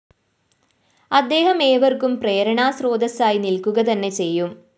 അദ്ദേഹം ഏവര്‍ക്കും പ്രേരണാസ്രോതസ്സായി നില്‍ക്കുകതന്നെ ചെയ്യും